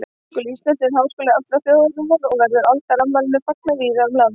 Háskóli Íslands er skóli allrar þjóðarinnar og verður aldarafmælinu fagnað víða um land.